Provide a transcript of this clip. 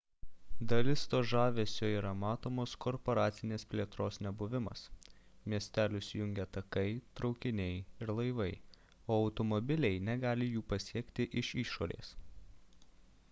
dalis to žavesio yra matomos korporacinės plėtros nebuvimas miestelius jungia takai traukiniai ir laivai o automobiliai negali jų pasiekti iš išorės